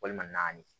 Walima naani